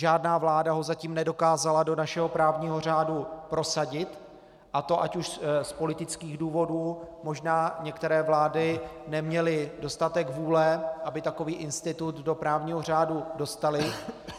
Žádná vláda ho zatím nedokázala do našeho právního řádu prosadit, a to ať už z politických důvodů, možná některé vlády neměly dostatek vůle, aby takový institut do právního řádu dostaly.